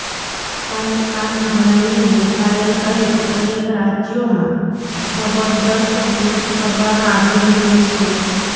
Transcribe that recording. અને આ નિર્ણયને મેઘાલય સહિત અનેક રાજ્યોમાં જબરદસ્ત વિરોધ કરવામાં આવી રહ્યો છે